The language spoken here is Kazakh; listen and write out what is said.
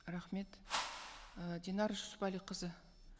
рахмет і динар жүсіпәліқызы